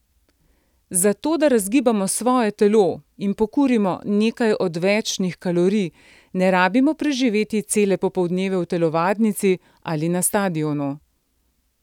Za to da razgibamo svoje telo in pokurimo nekaj odvečnih kalorij ne rabimo preživeti cele popoldneve v telovadnici ali na stadionu.